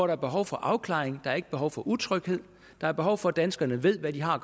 der behov for afklaring og der er ikke behov for utryghed der er behov for at danskerne ved hvad de har